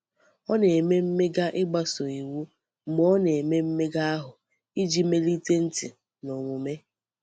Ọ na-eme mmega ịgbaso iwu mgbe ọ na-eme mmega ahụ iji melite ntị na omume.